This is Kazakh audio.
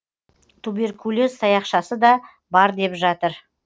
туберкулез таяқшасы да бар деп жатыр